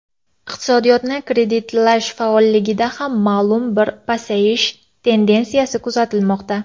Iqtisodiyotni kreditlash faolligida ham ma’lum bir pasayish tendensiyasi kuzatilmoqda.